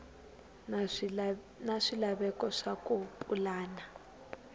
na swilaveko swa ku pulana